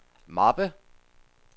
mappe